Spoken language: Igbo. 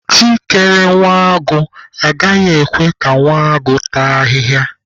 Chi kere nwa agụ, agaghị ekwe ka nwa agụ taa ahịhịa.